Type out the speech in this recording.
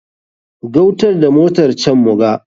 Gautar da motar can muga.